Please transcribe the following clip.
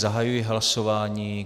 Zahajuji hlasování.